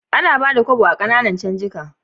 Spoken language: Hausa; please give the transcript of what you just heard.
Ana Bada Kobo a Kananan canjika